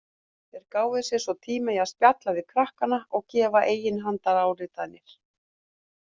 Þeir gáfu sér svo tíma í að spjalla við krakkana og gefa eiginhandaráritanir.